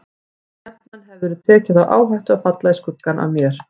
En jafnan hefðirðu tekið þá áhættu að falla í skuggann af mér.